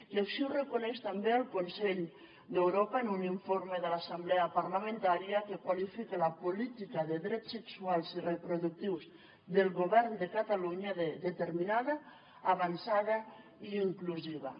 i així ho reconeix també el consell d’europa en un informe de l’assemblea parlamentària que qualifica la política de drets sexuals i reproductius del govern de catalunya de determinada avançada i inclusiva